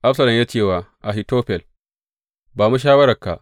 Absalom ya ce wa Ahitofel, Ba mu shawararka.